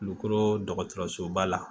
Kulukoro dɔgɔtɔrɔso ba la